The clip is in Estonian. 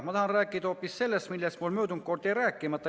Ma tahan rääkida hoopis sellest, millest mul möödunud korraljäi rääkimata.